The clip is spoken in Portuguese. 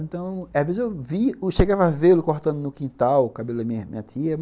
Então, às vezes eu chegava a vê-lo cortando no quintal o cabelo da minha minha tia.